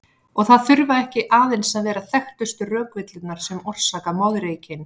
Og það þurfa ekki aðeins að vera þekktustu rökvillurnar sem orsaka moðreykinn.